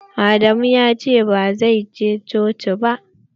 Adamu ya ce ba zai je coci ba.